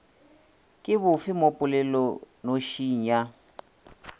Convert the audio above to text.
ke bofe mo polelonošing ya